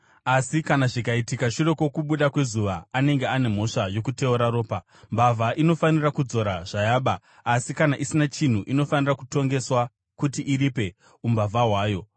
asi kana zvikaitika shure kwokubuda kwezuva, anenge ane mhosva yokuteura ropa. “Mbavha inofanira kudzora zvayaba, asi kana isina chinhu, inofanira kutongeswa kuti iripe umbavha hwayo.